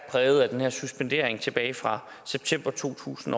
præget af den her suspendering tilbage fra september to tusind